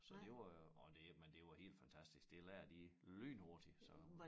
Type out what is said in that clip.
Så det var jo og det men det var helt fantastisk det lærte de lynhurtigt så